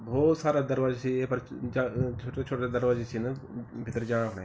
भौत सारा दरवाजा छी येफर ज छुट्टा छुट्टा दरवाजा छिन भितर जाणा खुणै।